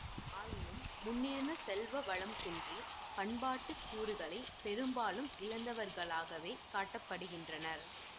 ஆயினும் முன்னிருந்த செல்வ வளம் குன்றி பண்பாட்டு கூறுகளை பெரும்பாலும் இழந்தவர்களாகவே காட்ட படுகிறனர்